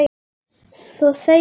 Svo þegjum við.